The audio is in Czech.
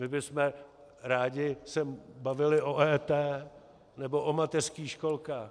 My bychom se rádi bavili o EET nebo o mateřských školkách.